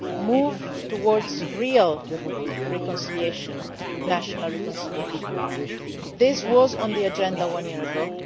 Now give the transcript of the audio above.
Moving towards real reconciliation national reconciliation was on the agenda one year